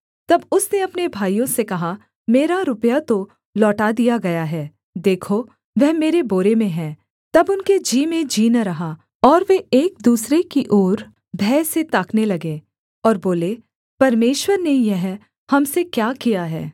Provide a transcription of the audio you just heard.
तब उसने अपने भाइयों से कहा मेरा रुपया तो लौटा दिया गया है देखो वह मेरे बोरे में है तब उनके जी में जी न रहा और वे एक दूसरे की ओर भय से ताकने लगे और बोले परमेश्वर ने यह हम से क्या किया है